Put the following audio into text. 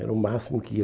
Era o máximo que ia.